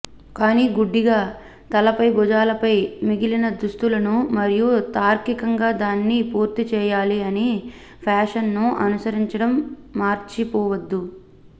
కానీ గుడ్డిగా తలపై భుజాలపై మిగిలిన దుస్తులను మరియు తార్కికంగా దాన్ని పూర్తి చేయాలి అని ఫ్యాషన్ను అనుసరించడం మర్చిపోవద్దు